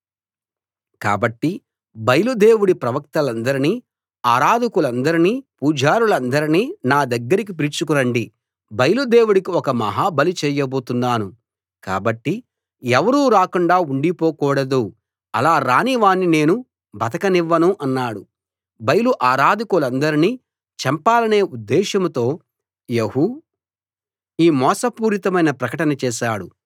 కాబట్టి బయలు దేవుడి ప్రవక్తలందర్నీ ఆరాధకులందర్నీ పూజారులందర్నీ నా దగ్గరికి పిలుచుకు రండి బయలు దేవుడికి ఒక మహా బలి చేయబోతున్నాను కాబట్టి ఎవరూ రాకుండా ఉండిపోకూడదు అలా రాని వాణ్ణి నేను బతకనివ్వను అన్నాడు బయలు ఆరాధకులందర్నీ చంపాలనే ఉద్దేశ్యంతో యెహూ ఈ మోసపూరితమైన ప్రకటన చేశాడు